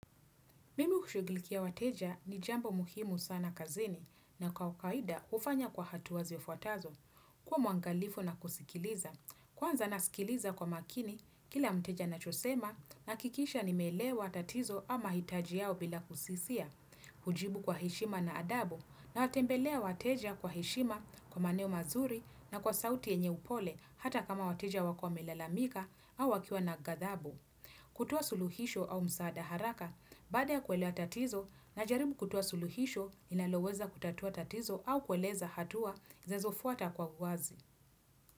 Mimi kushughulikia wateja ni jambo muhimu sana kazini na kwa kawakaida hufanya kwa hatua zifuatazo. Kuwa mwangalifu na kusikiliza. Kwanza nasikiliza kwa makini, kila mteja anachosema nahakikisha nimeelewa tatizo ama hitaji yao bila kusisia. Hujibu kwa hishima na adabu na watembelea wateja kwa hishima kwa maneo mazuri na kwa sauti yenye upole hata kama wateja wako wamelelamika au wakiwa na gathabu. Kutua suluhisho au msaada haraka, baada ya kuelewa tatizo na jaribu kutoa suluhisho inaloweza kutatua tatizo au kueleza hatua zinazofuata kwa uwazi.